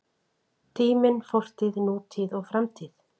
Tíminn: Fortíð, nútíð og framtíð.